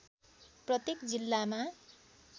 प्रत्येक जिल्लामा